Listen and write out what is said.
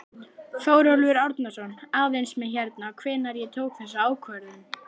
Þórólfur Árnason: Aðeins með hérna, hvenær ég tók þessa ákvörðun?